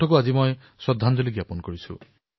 মই আজি তেওঁকো শ্ৰদ্ধাঞ্জলি জনাইছো